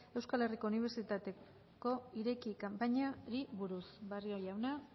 euskal herriko unibertsitateko ireki kanpainari buruz barrio jauna